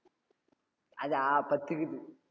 அதா பத்து இருக்குது.